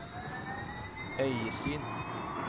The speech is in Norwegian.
øyesyn